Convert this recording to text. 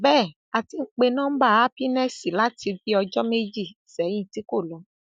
bẹẹ á ti ń pe nọmba happiness láti bíi ọjọ méjì sẹyìn tí kò lọ